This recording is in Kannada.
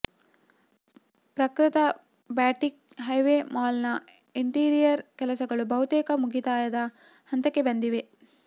ಪ್ರಕೃತ ಬಾಟಿಕ್ ಹೈವೇ ಮಾಲ್ ನ ಇಂಟೀರಿಯರ್ ಕೆಲಸಗಳು ಬಹತೇಕ ಮುಗಿತಾಯದ ಹಂತಕ್ಕೆ ಬಂದಿವೆ